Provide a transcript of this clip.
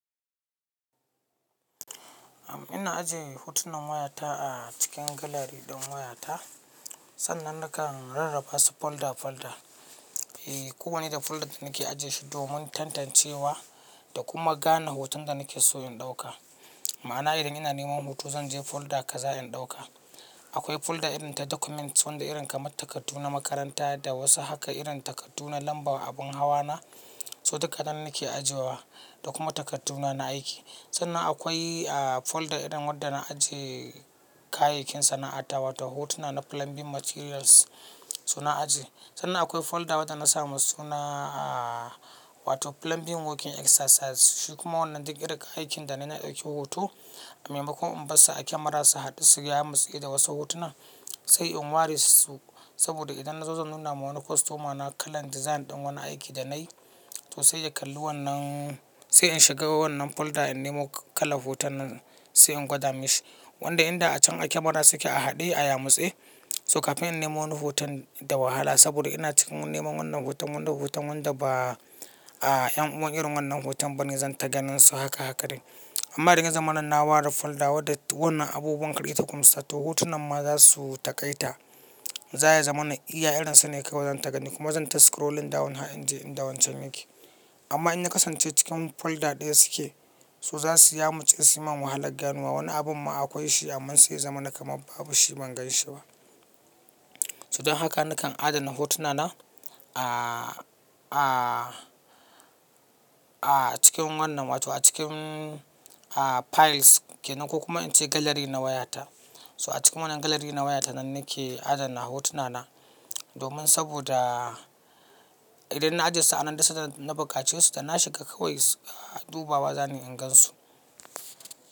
Ina ajiye hotunan wayata a cikin gallery ɗin wayata. Sannan nakan rarraba su folder folder. E kowane da folder da nake ajiye shi domin tantancewa da kuma gane hoton da nake so in ɗauka. Ma'ana idan ina neman hoto zan je folder kaza in ɗauka. Akwai folder irin ta documents wanda irin kamar takardu na makaranta da wasu haka irin takardu na lambar abun hawa na, su dukkanan nake ajiyewa da kuma takarduna na aiki. Sannan akwai folder irin wadanda na ajiye kayayyakin sana'ata wato hotuna na plumbing materials suna ajiye. Sannan akwai folder wadanda na sa musu suna wato plumbing working exercises su kuma wannan duk irin kayayyakin da na yi na ɗauki hoto. A maimakon in bassu a camera su haɗu su yamatse da wasu hotunan, sai in ware su saboda idan na zo zan nuna ma wani customer na kalan design ɗin wani aiki da na yi, to sai ya kalli wannan, sai in shiga wannan folder in nemo kalan hoton nan sai in gwada mishi. Wanda inda a can a camera su ke a haɗe a yamutse. So kafin in nemo wani hoton da wahala saboda ina cikin neman wannan hoton wanda hoton wanda ba a yan uwan irin wannan hoton bane zan ta ganin su haka haka din. Amma idan ya zamana na ware folda wanda wannan abubuwan kaɗai ta kuma yasa, to hotunan ma za su taƙaita. Za ya zama na iya irin su ne kawai zan ta gani kuma zan ta scrolling down har in je inda wancan ya ke. Amma in na kasance cikin folder ɗaya su ke, so za su ya mutse su yi man wahala ganuwa wani abun ma akwai shi amma sai zamana kaman babu shi ban ganshi ba. So don haka nakan adana hotuna na a cikin wannan wato a cikin files ke nan ko kuma in ce gallery na wayata. So a cikin wannan gallery na wayata nan nake adana hotuna na domin saboda idan na ajiye su a nan duk san da na bukace su da na shiga kawai du bawa za ni in gan su.